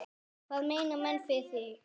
Hvað meina menn með því?